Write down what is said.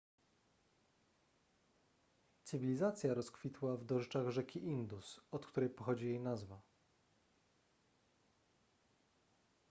cywilizacja rozkwitła w dorzeczach rzeki indus od której pochodzi jej nazwa